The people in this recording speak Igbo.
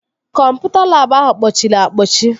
Kọmputa labụ ahụ kpọchiri akpọchi